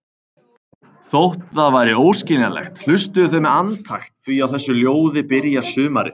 Þótt það væri óskiljanlegt, hlustuðu þau með andakt því á þessu ljóði byrjar sumarið.